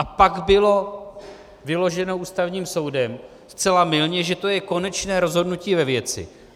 A pak bylo vyloženo Ústavním soudem, zcela mylně, že to je konečné rozhodnutí ve věci.